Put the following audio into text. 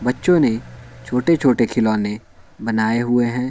बच्चों ने छोटे-छोटे खिलौने बनाए हुए हैं ।